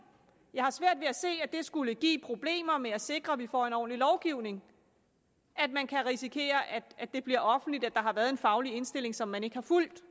jeg har svært ved at se at det skulle give problemer med at sikre at vi får en ordentlig lovgivning at man kan risikere at det bliver offentligt at der har været en faglig indstilling som man ikke har fulgt vi